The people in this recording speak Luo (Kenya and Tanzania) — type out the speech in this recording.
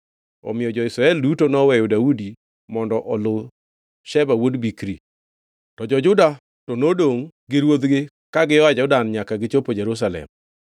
Omiyo jo-Israel duto noweyo Daudi mondo oluw Sheba wuod Bikri. To jo-Juda to nodongʼ gi ruodhgi ka gia Jordan nyaka gichopo Jerusalem.